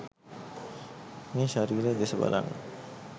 මේ ශරීරය දෙස බලන්න.